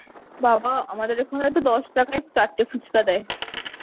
বাবা আমাদের এখানে তো দশ টাকায় চারটে ফুচকা দেয়